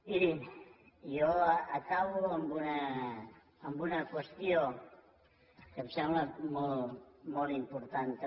mirin jo acabo amb una qüestió que em sembla molt molt important també